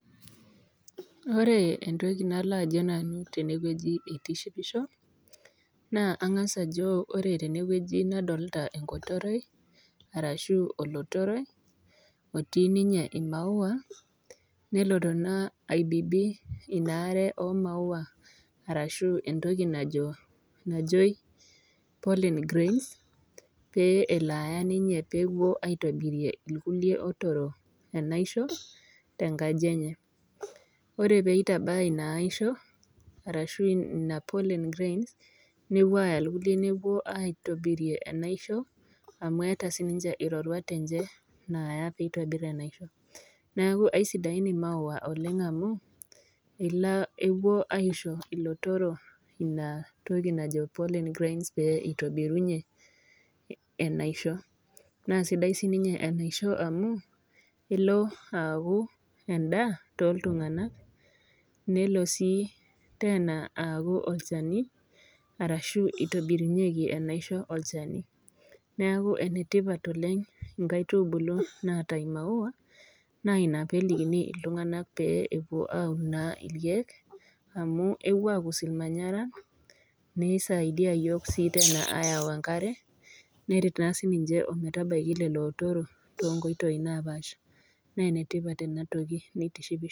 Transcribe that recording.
Ore entoki nalo ajo nanu tenewueji eitishipisho naa ang'as ajo ore tewueji nadolta enkotoroi arashu olotoroi otii ninye imaua neloto naa aibibi ina are omaua arashu entoki najo najoi pollen grains pe elo aya ninye peepuo aitobirie ilkulie otoro enaisho tenkaji enye ore peitabaya ina aisho arashu ina pollen grains newuo aaya ilkulie nepuo aitobirie enaisho amu eeta sininche iroruat enche naaya peitobiru enaisho neaku aisidain imaua oleng amu elo epuo aisho ilotoro ina toki najo pollen grains pee eitobirunyie enaisho naa sidai sininye enaisho amu elo aaku endaa toltung'anak nelo sii tena aaku olchani arashu itobirunyieki enaisho olchani neaku enetipat oleng inkaitubulu naata imaua naa ina pelikini iltung'anak pee epuo aun naa ilkeek amu ewuo akus ilmanyaran neisaidia iyiok sii tena ayau enkare neret naa sininche ometabaiki lelo otorok tonkoitoi napaasha nenetipat enatoki neitishipisho.